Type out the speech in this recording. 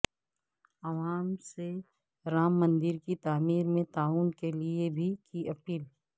عوام سے رام مندر کی تعمیر میں تعاون کے لئے بھی کی اپیل